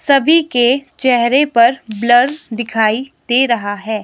सभी के चेहरे पर ब्लर दिखाई दे रहा है।